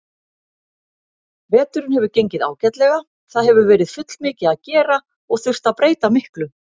Veturinn hefur gengið ágætlega, það hefur verið fullmikið að gera og þurft að breyta miklu.